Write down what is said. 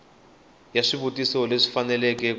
ya swivutiso leswi faneleke ku